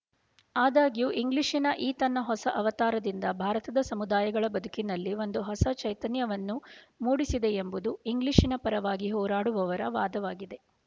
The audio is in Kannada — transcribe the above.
ಆದಾಗ್ಯೂ ಇಂಗ್ಲಿಶಿನ ಈ ತನ್ನ ಹೊಸ ಅವತಾರದಿಂದ ಭಾರತದ ಸಮುದಾಯಗಳ ಬದುಕಿನಲ್ಲಿ ಒಂದು ಹೊಸ ಚೈತನ್ಯವನ್ನು ಮೂಡಿಸಿದೆಯೆಂಬುದು ಇಂಗ್ಲೀಷಿನ ಪರವಾಗಿ ಹೋರಾಡುವವರ ವಾದವಾಗಿದೆ